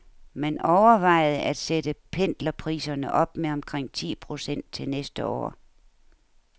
Man overvejede at sætte pendlerpriserne op med omkring ti procent til næste år.